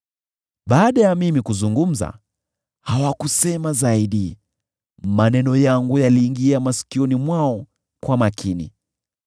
Baada ya mimi kuzungumza, hawakusema zaidi; maneno yangu yaliingia masikioni mwao kwa makini.